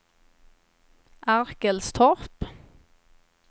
Arkelstorp